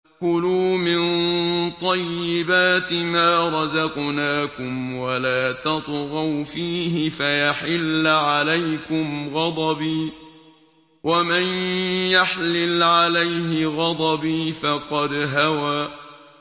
كُلُوا مِن طَيِّبَاتِ مَا رَزَقْنَاكُمْ وَلَا تَطْغَوْا فِيهِ فَيَحِلَّ عَلَيْكُمْ غَضَبِي ۖ وَمَن يَحْلِلْ عَلَيْهِ غَضَبِي فَقَدْ هَوَىٰ